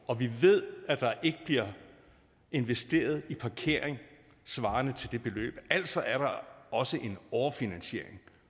og vi ved at der ikke bliver investeret i parkering svarende til det beløb altså er der også en overfinansiering